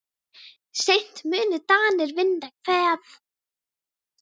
Seint munu Danir vinna Hveðn.